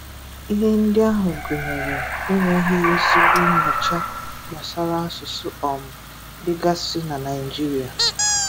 Ihe ndị ahụ gụnyere e nweghi ezigbo nnyocha gbasara asụsụ um dịgasị na Naịjiria